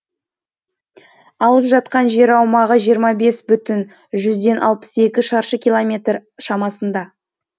алып жатқан жер аумағы жиырма бес бүтін жүзден алпыс екі шаршы километр шамасында